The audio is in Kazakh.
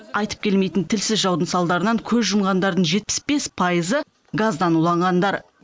айтып келмейтін тілсіз жаудың салдарынан көз жұмғандардың жетіс бес пайызы газдан уланғандар